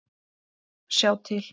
Sjá til